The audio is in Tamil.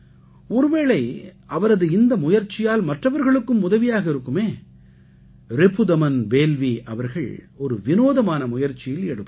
ஒருவேளை அவரது இந்த முயற்சியால் மற்றவர்களுக்கும் உதவியாக இருக்குமே ரிபுதமன் பேல்வீ அவர்கள் ஒரு விநோதமான முயற்சியில் ஈடுபட்டார்